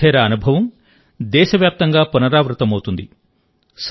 మోధేరా అనుభవం దేశవ్యాప్తంగా పునరావృతమవుతుంది